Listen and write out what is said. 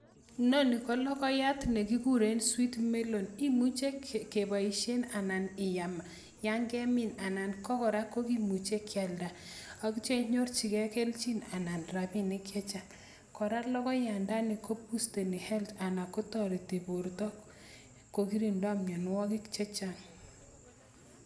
Inonii ko lokonyat nee kikurei sweetmelon imuche kee boishei iyam nyan kemin anan ko kora kokimuche keyalnda ak inyorchi kee kelchin anan rabinik kora lokonyandani kobusteni health anan kotoreti borto ko kirindoi mianuakik Chee Chang